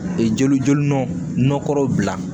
Ee jeli jolɔna nɔgɔ bila